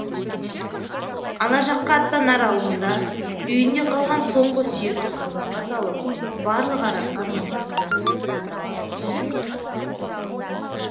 ана жаққа аттанар алдында үйінде қалған соңғы сүйекті қазанға салып барлық арасан моншасына бет алады